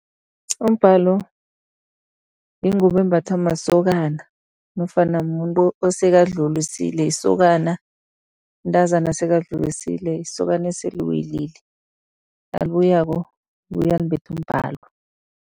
Umbhalo yingubo embathwa masokana nofana mumuntu osekadlulisile isokana, mntazana osekadlulisile, isokana esele liwelile. Nalibuyako libuya limbethe umbhalo.